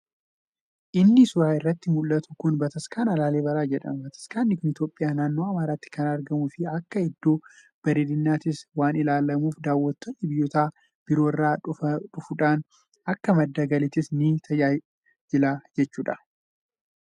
Inni suuraa irratti muldhatu kun bataskaana laalibalaa jedhama. Bataskaanni kun itoophiyaa naannoo amaaratti kan argamuu fi akka iddoo bareedinnattis waan ilaallamuuf daawwattoonni biyyoota biroo irraa dhufuudhaan akka madda galiittis ni tajaajila jechuudha.